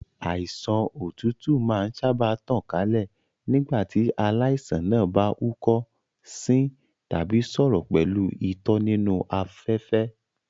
Àìsàn òtútù máa ń sáábà tàn kálẹ̀ nígbà tí aláìsàn náà bá húkọ́, sín tàbí sọ̀rọ̀ pẹ̀lú itọ́ nínú afẹ́fẹ́.